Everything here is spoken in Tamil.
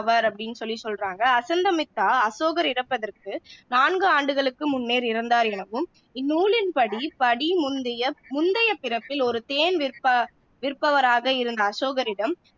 ஆவர் அப்படின்னு சொல்லி சொல்றாங்க அசந்தமித்தா அசோகர் இறப்பதற்கு நான்கு ஆண்டுகளுக்கு முன்னர் இறந்தார் எனவும் இந்நூலின் படி படி முந்தைய முந்தையபிறப்பில் ஒரு தேன் விற்ப விற்பவராக இருந்த அசோகரிடம்